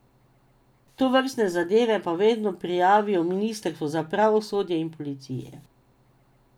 Tovrstne zadeve pa vedno prijavijo ministrstvu za pravosodje in policiji.